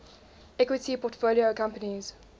equity portfolio companies